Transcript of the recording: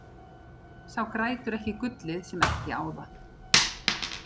Sá grætur ekki gullið sem ekki á það.